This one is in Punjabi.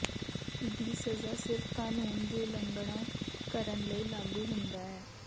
ਦੀ ਸਜ਼ਾ ਸਿਰਫ ਕਾਨੂੰਨ ਦੀ ਉਲੰਘਣਾ ਕਰਨ ਲਈ ਲਾਗੂ ਹੁੰਦਾ ਹੈ